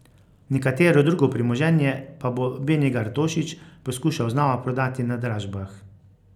Nekatero drugo premoženje pa bo Benigar Tošič poskušal znova prodati na dražbah.